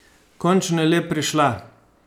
Končno je le prišla.